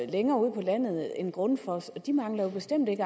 længere ude på landet end grundfos og de mangler jo bestemt ikke